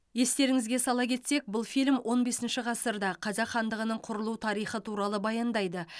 естеріңізге сала кетсек бұл фильм он бесінші ғасырда қазақ хандығының құрылу тарихы туралы баяндайды